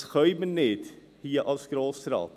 Das können wir nicht, hier als Grosser Rat.